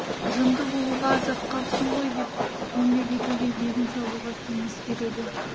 жынды болуға аз-ақ қапсың ғой деп еңбек етуге егін салуға кеңес береді